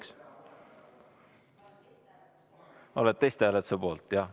Kas olete testhääletuse poolt?